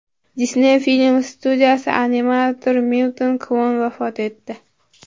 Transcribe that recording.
Disney film studiyasi animatori Milton Kvon vafot etdi.